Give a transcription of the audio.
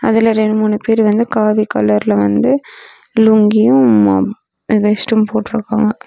அதுல ரெண்டு மூணு பேர் வந்து காவி கலர்ல வந்து லுங்கியும் வேஷ்டியும் போட்டுருக்காங்க.